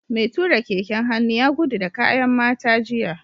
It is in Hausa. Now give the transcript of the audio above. Mai tura keken hannu ya gudu da kayan mata jiya